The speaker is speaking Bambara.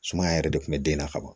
Sumaya yɛrɛ de kun bɛ den na ka ban